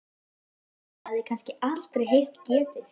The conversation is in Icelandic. Lóa hafði kannski aldrei heyrt getið.